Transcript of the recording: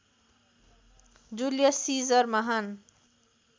Julius Caesar महान